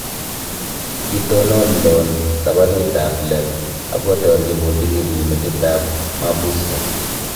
Kitonon Loan tabanut ab Lem akotarchi bundukinyi metit ab mabusiot